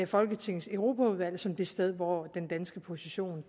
folketingets europaudvalg som det sted hvor den danske position